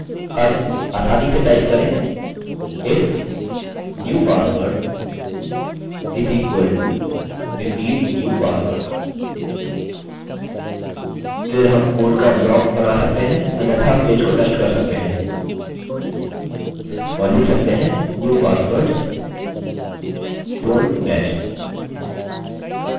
अब आसानी से टाइप करें if new password is equal to repeat new password फिर हम कोड का ब्लॉक बना सकते हैं अन्यथा हम पेज को नष्ट कर सकते हैं और लिख सकते हैं new passwords dont match!